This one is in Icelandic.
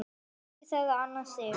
Dóttir þeirra Anna Sif.